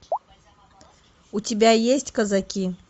у тебя есть казаки